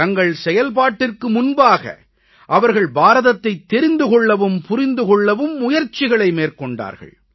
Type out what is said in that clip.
தங்கள் செயல்பாட்டிற்கு முன்பாக அவர்கள் பாரதத்தைத் தெரிந்து கொள்ளவும் புரிந்து கொள்ளவும் முயற்சிகளை மேற்கொண்டார்கள்